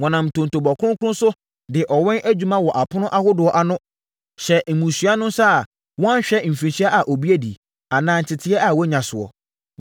Wɔnam ntontobɔ kronkron so, de ɔwɛn adwuma wɔ apono ahodoɔ ano hyɛɛ mmusua no nsa a wɔnhwɛ mfirinhyia a obi adi, anaa nteteeɛ a wanya soɔ.